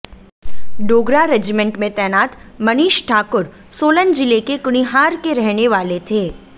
Dogra regiment में तैनात मनीष ठाकुर सोलन जिले के कुनिहार के रहने वाले थे